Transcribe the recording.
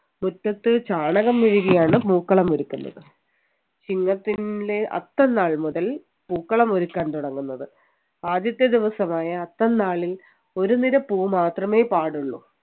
മുറ്റത്ത് ചാണകം മെഴുകിയാണ് പൂക്കളം ഒരുക്കുന്നത് ചിങ്ങത്തിലെ അത്തം നാൾ മുതൽ പൂക്കളം ഒരുക്കാൻ തുടങ്ങുന്നത് ആദ്യത്തെ ദിവസമായ അത്തം നാളിൽ ഒരു നിര പൂവ് മാത്രമേ പാടുള്ളൂ